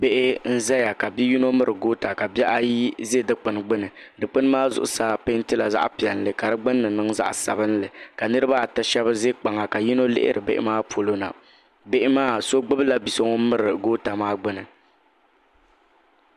Bihi n-zaya ka bi'yino miri gota ka bihi ayi ʒe dukpuni gbuni dukpuni maa zuɣusaa peentila zaɣ'piɛlli ka di gbunni niŋ zaɣ'sabinli ka niriba ata shɛba ʒe kpaŋa ka yino lihiri bihi maa polo na bihi maa so gbubila bi'so ŋun miri gota maa gbuni.